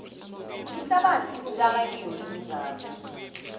ihlabathi sitjala kiyo iintjalo